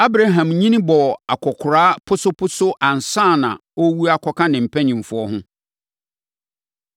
Abraham nyini bɔɔ akɔkoraa posoposo ansa na ɔrewu akɔka ne mpanimfoɔ ho.